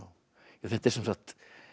þetta er sem sagt